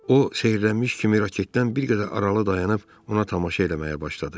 O, seyrələnmiş kimi raketdən bir qədər aralı dayanıb ona tamaşa eləməyə başladı.